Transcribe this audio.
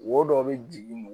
Wo dɔ bɛ jigin